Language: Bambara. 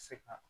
Se ka